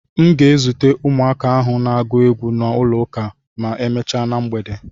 M ga-ezute ụmụaka ndị ahụ na-agụ egwu n'ụlọ ụka ma emechaa na mgbede.